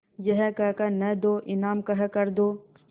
यह कह कर न दो इनाम कह कर दो